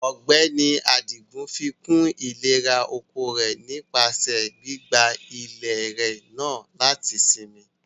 Ọgbẹni Adigun fíkún ilẹ̀rà-oko rẹ̀ nípasẹ gbígbà ilẹ̀ náà lati sínmí.